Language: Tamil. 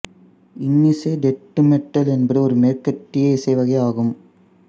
இன்னிசை டெத்து மெட்டல் என்பது ஒரு மேற்கத்திய இசைவகை ஆகும்